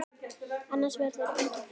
Annars verður enginn friður.